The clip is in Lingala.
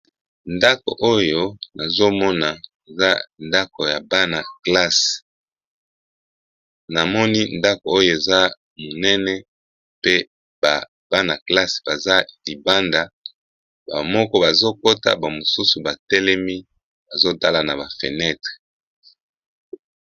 Ndako oyo nazomona eza ndako ya bana classe, namoni ndako oyo eza monene pe ba bana classe baza libanda. Bamoko bazokota bamosusu batelemi bazotala na ba fenetre.